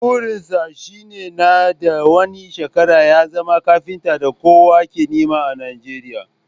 Burin sa shi ne nan da wani shekara ya zama kafintan da kowa ke nema a Nijeriya